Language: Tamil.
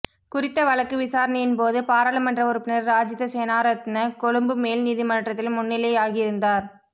குறித்த வழக்கு விசாரணையின்போது பாராளுமன்ற உறுப்பினர் ராஜித சேனாரத்ன கொழும்பு மேல் நீதிமன்றத்தில் முன்னிலையாகியிருந்தார்